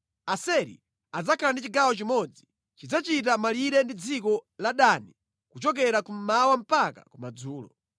“Aseri adzakhala ndi chigawo chimodzi. Chidzachita malire ndi dziko la Dani kuchokera kummawa mpaka kumadzulo.